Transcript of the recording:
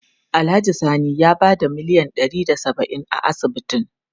Alhaji Sani ya bada miliyan ɗari da saba'in a asibitin.